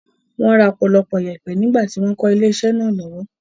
Wọ́n ra ọ̀pọ̀lọpọ̀ ìyèpẹ̀ nígbà tí wọ́n ń kọ́ ilé-iṣẹ́ náà lọ́wọ́.